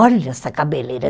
Olha essa cabeleira.